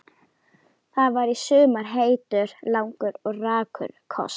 Það var í sumar heitur, langur og rakur koss.